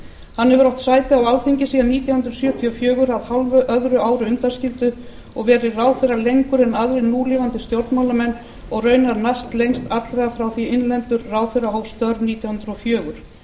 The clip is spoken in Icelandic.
hann hefur átt sæti á alþingi síðan nítján hundruð sjötíu og fjögur að hálfu öðru ári undanskildu og verið ráðherra lengur en aðrir núlifandi stjórnmálamenn og raunar næstlengst allra frá því innlendur ráðherra hóf störf nítján hundruð og fjögur